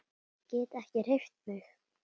Get ekki hreyft mig.